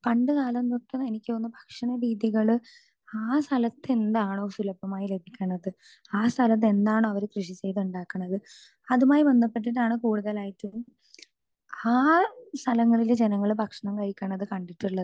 speaker 2 പണ്ട് കാലം തൊട്ട് എനിക്ക് തോന്നുന്നു ഭക്ഷണരീതികള് ആ സ്ഥലത്ത് എന്താണോ സുലഭമായി ലഭിക്കിണത് ആ സ്ഥലത്ത് എന്താണോ അവര് കൃഷി ചെയ്ത് ഇണ്ടാക്കിണത് അതുമായി ബന്ധപെട്ടിട്ടാണ് കൂടുതലായിട്ടും ആ സ്ഥലങ്ങളിലെ ജനങ്ങള് ഭക്ഷണം കഴിക്കിണത് കണ്ടിട്ടുള്ളത്